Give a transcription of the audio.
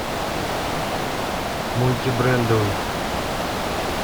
мультибрендовый